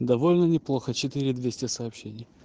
довольно неплохо четыре двести сообщений